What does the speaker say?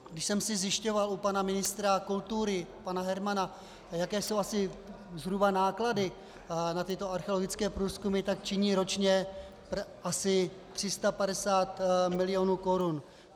Když jsem si zjišťoval u pana ministra kultury, pana Hermana, jaké jsou asi zhruba náklady na tyto archeologické průzkumy, tak činí ročně asi 350 milionů korun.